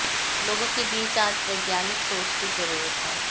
लोगों के बीच आज वैज्ञानिक सोच की जरूरत है